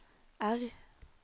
R